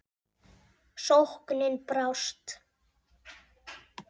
Sóknin brást.